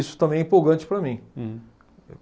Isso também é empolgante para mim. Hum.